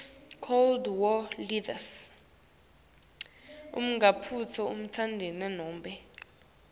nguwuphi umtsetfo nobe